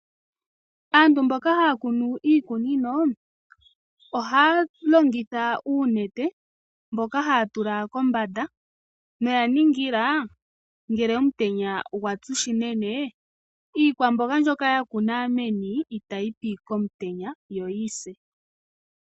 Aantu mboka haya kunu iikunino ohaya longitha uunete mboka haya tula kombanda, noya ningila ngele omutenya gwatsu shinene iikwamboga mbyoka ya kuna meni itayi pi komutenya yo yi se.